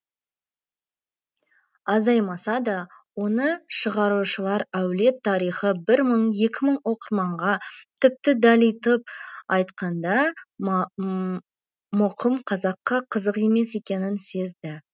азаймаса да оны шығарушылар әулет тарихы бір мың екі мың оқырманға тіпті далитып айтқанда мұқым қазаққа қызық емес екенін сезді